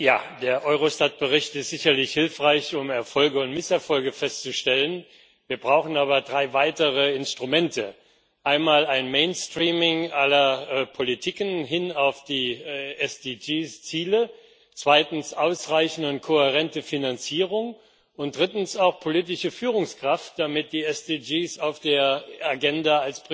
Ja, der Eurostat Bericht ist sicherlich hilfreich, um Erfolge und Misserfolge festzustellen. Wir brauchen aber drei weitere Instrumente einmal ein Mainstreaming aller Politiken hin auf die SDG Ziele, zweitens eine ausreichende und kohärente Finanzierung und drittens auch politische Führungskraft, damit die SDG als Priorität auf der Agenda